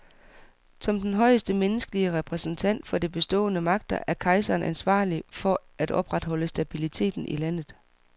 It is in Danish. Som den højeste menneskelige repræsentant for de bestående magter er kejseren ansvarlig for at opretholde stabiliteten i landet.